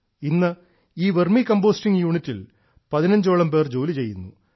ഇന്ന് ഈ vermicomposting യൂണിറ്റിൽ പതിനഞ്ചോളം പേർ ജോലി ചെയ്യുന്നു